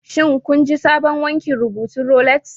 Shin kun ji sabon wankin rubutun Rolex